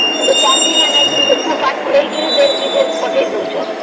ଚାଷୀ ମାନଙ୍କୁ ବି ପଢା ପଢ଼େଇକିରି ଦେଶ ବିଦେଶ ପଠେଇ ଦଉଛନ